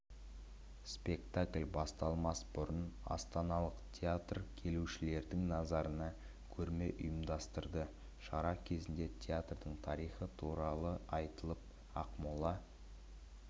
спектакль басталмас бұрын астаналық театр келушілердің назарына көрме ұйымдастырды шара кезінде театрдың тарихы туралы айтылып ақмола